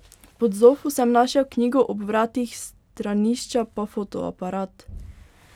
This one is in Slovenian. Pod zofo sem našel knjigo, ob vratih stranišča pa fotoaparat.